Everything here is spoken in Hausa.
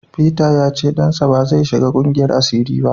Peter ya ce dansa ba zai shiga kungiyar asiri ba.